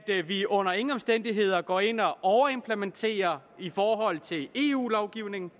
vi under ingen omstændigheder går ind og overimplementerer i forhold til eu lovgivningen